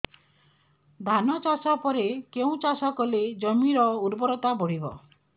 ଧାନ ଚାଷ ପରେ କେଉଁ ଚାଷ କଲେ ଜମିର ଉର୍ବରତା ବଢିବ